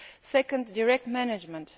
Secondly direct management.